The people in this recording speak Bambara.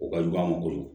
O ka jugu a ma kojugu